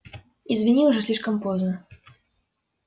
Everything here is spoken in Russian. извини уже слишком поздно